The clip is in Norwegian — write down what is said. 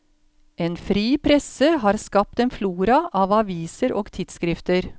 En fri presse har skapt en flora av aviser og tidsskrifter.